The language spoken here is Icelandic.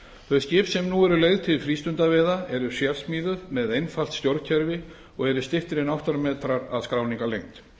þau skip sem nú eru leigð til frístundaveiða eru sérsmíðuð með einfalt stjórnkerfi og eru styttri en átta metrar að skráningarlengd